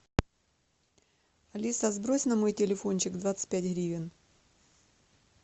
алиса сбрось на мой телефончик двадцать пять гривен